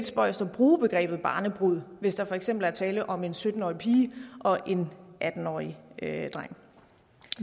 spøjst at bruge begrebet barnebrud hvis der for eksempel er tale om en sytten årig pige og en atten årig dreng